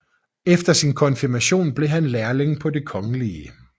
Efter sin konfirmation blev han lærling på Den kgl